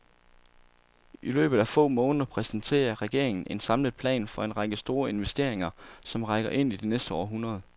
I løbet af få måneder præsenterer regeringen en samlet plan for en række store investeringer, som rækker ind i det næste århundrede.